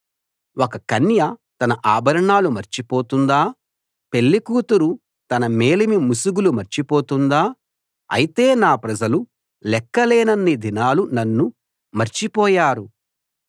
ఒక కన్య తన ఆభరణాలు మర్చిపోతుందా పెళ్ళికూతురు తన మేలిముసుగులు మర్చిపోతుందా అయితే నా ప్రజలు లెక్కలేనన్ని దినాలు నన్ను మర్చిపోయారు